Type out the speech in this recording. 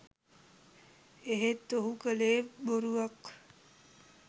එහෙත් ඔහු කළේ බොරුවක්